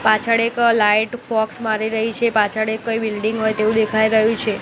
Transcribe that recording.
પાછળ એક light focus મારી રહી છે પાછળ એ કઈ બિલ્ડીંગ હોય તેવું દેખાય રહ્યું છે.